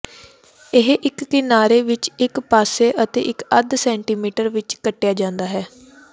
ਇਹ ਇੱਕ ਕਿਨਾਰੇ ਵਿੱਚ ਇੱਕ ਪਾਸੇ ਅਤੇ ਇੱਕ ਅੱਧ ਸੈਂਟੀਮੀਟਰ ਵਿੱਚ ਕੱਟਿਆ ਜਾਂਦਾ ਹੈ